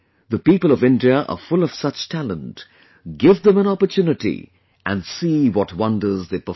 The people of India are full of such talent give them an opportunity and see what wonders they perform